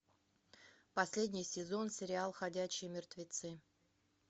последний сезон сериал ходячие мертвецы